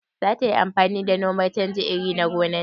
Zata yi amfani da noman canja iri a gonan ta?